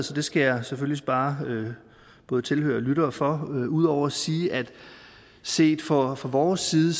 så det skal jeg selvfølgelig spare både tilhørere lyttere for ud over at sige at set fra fra vores side